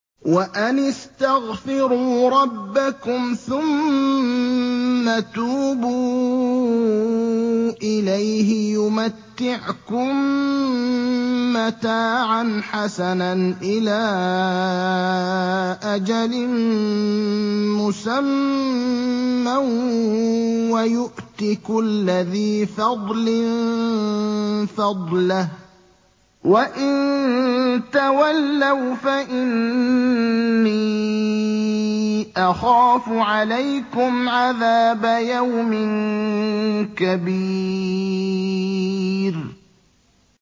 وَأَنِ اسْتَغْفِرُوا رَبَّكُمْ ثُمَّ تُوبُوا إِلَيْهِ يُمَتِّعْكُم مَّتَاعًا حَسَنًا إِلَىٰ أَجَلٍ مُّسَمًّى وَيُؤْتِ كُلَّ ذِي فَضْلٍ فَضْلَهُ ۖ وَإِن تَوَلَّوْا فَإِنِّي أَخَافُ عَلَيْكُمْ عَذَابَ يَوْمٍ كَبِيرٍ